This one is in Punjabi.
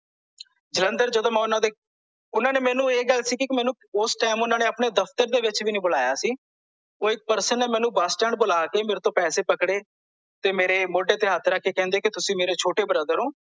ਜਲੰਧਰ ਜਦੋਂ ਮੈਂ ਓਹਨਾਂ ਦੇ ਓਹਨਾਂ ਨੇ ਮੈਨੂੰ ਇਹ ਗੱਲ ਸੀ ਕੀ ਮੈਨੂੰ ਓਸ ਟਾਈਮ ਮੈਨੂੰ ਆਪਣੇ ਦਫ਼ਤਰ ਵਿੱਚ ਵੀ ਨਹੀਂ ਬੁਲਾਇਆ ਸੀ ਕੋਈ person ਨੇ ਮੈਨੂੰ ਬੱਸ ਸਟੈੰਡ ਬੁਲਾ ਕੇ ਮੇਰੇ ਤੋਂ ਪੈਸੇ ਪਕੜੇ ਤੇ ਮੇਰੇ ਮੋਢੇ ਤੇ ਹੱਥ ਰੱਖ ਕੇ ਕਹਿੰਦੇ ਤੁਸੀਂ ਮੇਰੇ ਛੋਟੇ brother ਹੋ